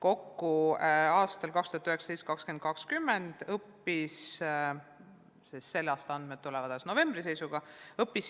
Õppeaastal 2019/2020 õppis 4100 muukeelset last eesti õppekeelega koolis.